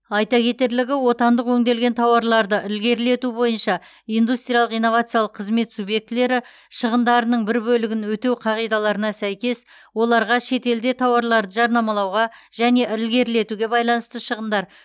айта кетерлігі отандық өңделген тауарларды ілгерілету бойынша индустриялық инновациялық қызмет субъектілері шығындарының бір бөлігін өтеу қағидаларына сәйкес оларға шетелде тауарларды жарнамалауға және ілгерілетуге байланысты шығындар